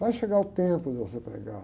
Vai chegar o tempo de você pregar.